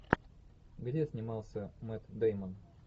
где снимался мэтт дэймон